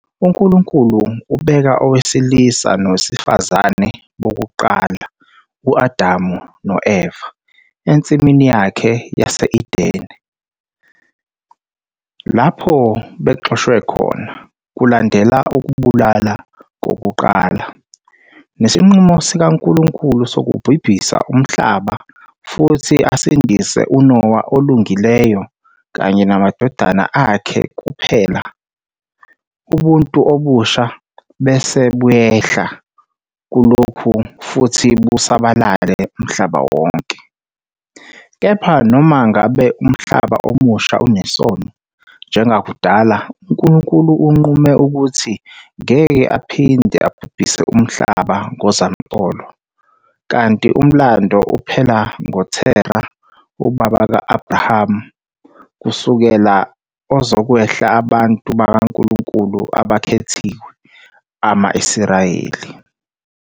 UNkulunkulu ubeka owesilisa nowesifazane bokuqala, u-Adamu no-Eva, eNsimini yakhe yase-Edene, lapho bexoshwe khona, kulandela ukubulala kokuqala, nesinqumo sikaNkulunkulu sokubhubhisa umhlaba futhi asindise uNowa olungileyo kanye namadodana akhe kuphela, ubuntu obusha bese buyehla kulokhu futhi busabalale umhlaba wonke, kepha noma ngabe umhlaba omusha unesono njengakudala, uNkulunkulu unqume ukuthi ngeke aphinde abhubhise umhlaba ngozamcolo, kanti Umlando uphela ngoTerah, ubaba ka-Abrahama, kusukela ozokwehla abantu bakaNkulunkulu abakhethiwe, ama -Israyeli.